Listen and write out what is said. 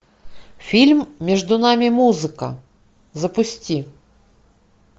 фильм между нами музыка запусти